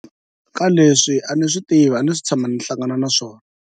Ka leswi a ni swi tivi a ndzi se tshama ndzi hlangan na swona.